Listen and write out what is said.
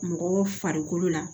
Mɔgɔ farikolo la